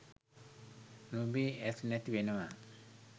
නුඹේ ඇස් නැති වෙනවා